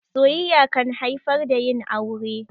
Soyayya kan haifar da yin aure.